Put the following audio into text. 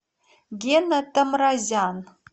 гена тамразян